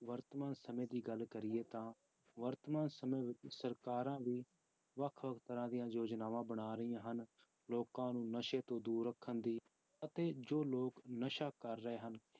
ਵਰਤਮਾਨ ਸਮੇਂ ਦੀ ਗੱਲ ਕਰੀਏ ਤਾਂ ਵਰਤਮਾਨ ਸਮੇਂ ਵਿੱਚ ਸਰਕਾਰਾਂ ਵੀ ਵੱਖ ਵੱਖ ਤਰ੍ਹਾਂ ਦੀਆਂ ਯੋਜਨਾਵਾਂ ਬਣਾ ਰਹੀਆਂ ਹਨ, ਲੋਕਾਂ ਨੂੰ ਨਸ਼ੇ ਤੋਂ ਦੂਰ ਰੱਖਣ ਦੀ ਅਤੇ ਜੋ ਲੋਕ ਨਸ਼ਾ ਕਰ ਰਹੇ ਹਨ,